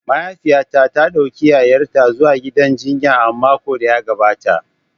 Mahaifiyata ta dauki yayarta zuwa gidan jinya a makon da ya gabata.